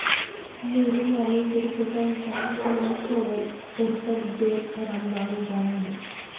मुरुम आणि सुरकुत्यांच्या समस्येवर कोरफड जेल रामबाण उपाय आहे